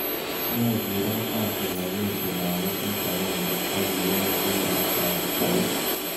Yae kurat ab supagheti paketit agenge ak iyae kurat ab keib